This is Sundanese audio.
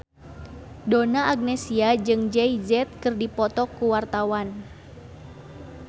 Donna Agnesia jeung Jay Z keur dipoto ku wartawan